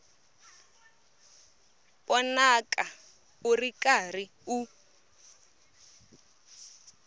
vonaka u ri karhi u